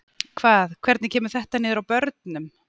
Hvað, hvernig kemur þetta niður á þessum börnum?